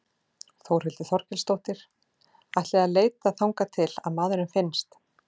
Þórhildur Þorkelsdóttir: Ætlið þið að leita þangað til að maðurinn finnst?